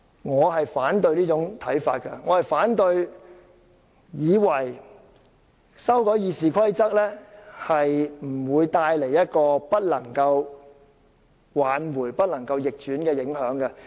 我反對這種看法，即以為修訂《議事規則》不會帶來無法挽回及不可逆轉的影響。